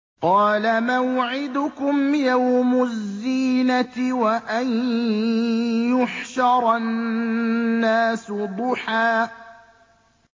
قَالَ مَوْعِدُكُمْ يَوْمُ الزِّينَةِ وَأَن يُحْشَرَ النَّاسُ ضُحًى